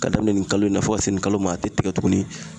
Ka daminɛ nin kalo in na fo ka se nin kalo ma a te tigɛ tuguni